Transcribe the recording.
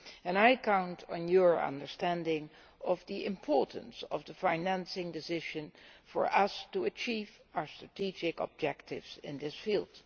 And I count on your understanding of the importance of the financing decision for us to achieve our strategic objectives in this field.